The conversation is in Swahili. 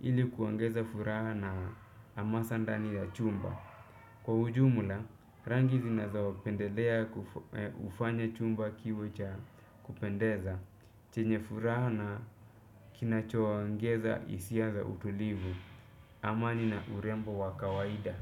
ili kuongeza furaha na amasa ndani ya chumba. Kwa ujumula, rangi zinazao pendelea ufanya chumba kiwe cha kupendeza, chenye furaha na kinacho ongeza isia za utulivu. Amani na urembo wakawaida.